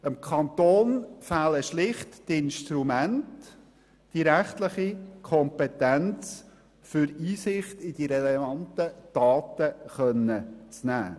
Dem Kanton fehlen schlicht die Instrumente und die rechtliche Kompetenz, um Einsicht in die relevanten Daten nehmen zu können.